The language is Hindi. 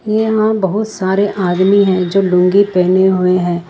यहां बहुत सारे आदमी हैं जो लुंगी पहने हुए हैं।